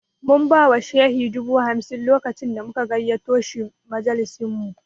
Mun ba wa Shehi dubu hamsin lokacin da muka gayyato shi majalisinmu